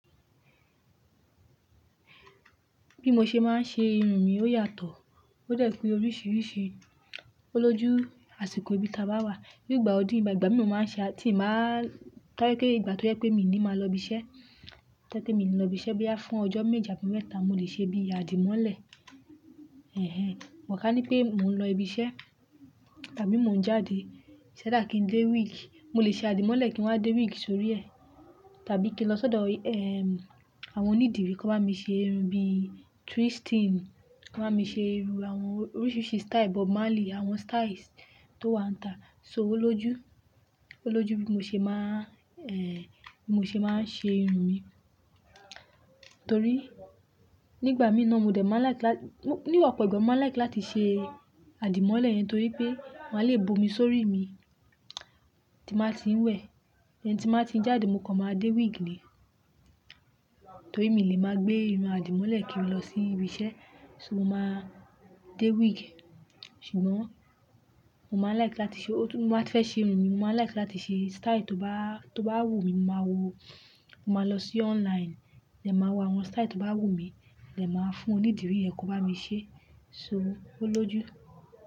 Bí mo ṣe máa ń ṣe irun mi ó yàtọ̀. Ó dẹ̀ pe oríṣiríṣi, ó lójú àsìkò ibi tabáwà. Nígbà ọdún, ìgbà gbà mi ò máa ń ṣe á, tí màá-- ko je pe ìgbà tó jẹ pé mi ni màá lọ ibi iṣẹ́, ti mi lọ ibi iṣẹ́ bí fún ọjọ́ méji abi meta mo lè ṣe bí àdìmọ́lẹ̀. Ẹ̀hẹ́n, mo kà ní pé mò ń lọ ibi iṣẹ́ tàbí mò ń jáde, ṣẹ́ dá kí ń dé wíìgì, mo lè ṣe àdìmọ́lẹ̀ kí wọ́n á dé wíìgì sórí ẹ̀, tàbí kí n lọ sọ́dọ̀, ẹm, àwọn onídìrí ko bá mi ṣe irun bí twisting, ko bá mi ṣe irun àwọn oríṣiríṣi style, Bob Marley, àwọn style tó wà n ta. So ó lójú, ó lójú bí mo ṣe máa ń, ẹhẹ, bí mo ṣe máa ń ṣe irun mi. Torí nígbà mìíràn mo dẹ̀ máa ń like lá-- ní opọ̀ ìgbà mo máa ń like láti ṣe àdìmọ́lẹ̀ yẹn torí pé wọ́n á le bu omi sórí mi, tí bàá ti ń wẹ̀. And tí bàá ti ń jáde mo kọ máa dé wíìgì ni. Torí mi lè máa gbé irun àdìmọ́lẹ̀ kí n lọ sí ibi iṣẹ́, so mo máa dé wíìgì. Ṣùgbọ́n mo máa ń like láti ṣe o-- mo máa fẹ́ ṣe irun mi, mo máa like láti ṣe style tó bá, tó bá wù mí mo máa wo, mo máa lọ sí online, mo máa wo àwọn style tó bá wù mí, dẹn máa fún onídìrí yẹn ko bá mi ṣe, so ó lójú.